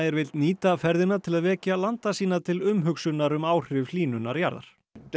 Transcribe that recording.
vill nýta ferðina til að vekja landa sína til umhugsunar um áhrif hlýnunar jarðar þegar